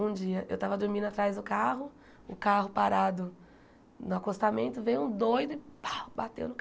Um dia, eu tava dormindo atrás do carro, o carro parado no acostamento, veio um doido e pá bateu no